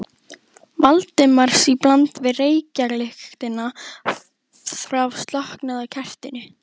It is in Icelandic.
Valdimars í bland við reykjarlyktina frá slokknaða kertinu.